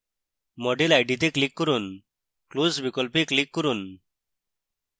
model id তে click করুন close বিকল্পে click করুন